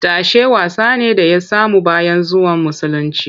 Tashe wasa ne da ya samu bayan zuwan musulunci